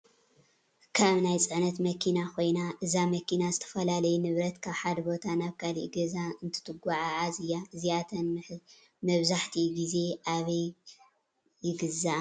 ካብ ናይ ፅዕነት መኪና ኮይና እዛ መኪና ዝተፈላለዩ ንብረት ካብ ሓደ ቦታ ናብ ካሊእ ገዛ እተጉዓዓዝ እያ:: እዚኣተን መብኣሕቲኡ ግዜ ኣበይ ግዝኣ ?